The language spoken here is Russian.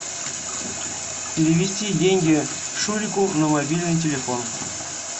перевести деньги шурику на мобильный телефон